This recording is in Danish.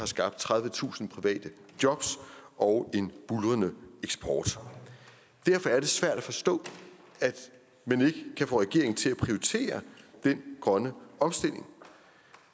skabt tredivetusind private jobs og en buldrende eksport derfor er det svært at forstå at man ikke kan få regeringen til at prioritere den grønne omstilling